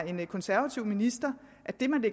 en konservativ minister